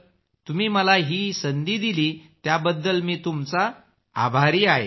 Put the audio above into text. तुम्ही मला ही संधी दिली याबद्दल मी तुमचा आभारी आहे